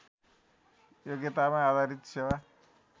योग्यतामा आधारित सेवा